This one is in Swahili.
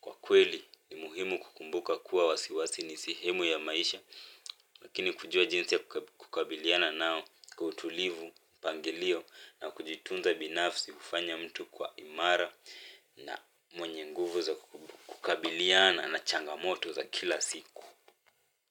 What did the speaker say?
kwa kweli ni muhimu kukumbuka kuwa wasiwasi ni sehemu ya maisha lakini kujua jinsi ya kukabiliana nao kwa utulivu mpangilio na kujitunza binafsi kufanya mtu kwa imara na mwenye nguvu za kukabiliana na changamoto za kila siku.